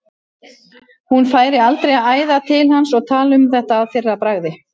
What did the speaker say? Hún færi aldrei að æða til hans og tala um þetta að fyrra bragði.